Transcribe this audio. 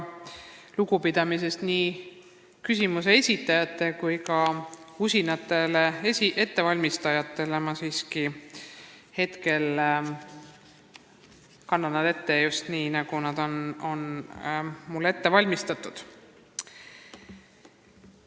Lugupidamisest nii küsimuste esitajate kui ka vastuste usinate ettevalmistajate vastu ma siiski kannan need ette just nii, nagu need ette valmistatud on.